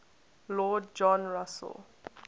lord john russell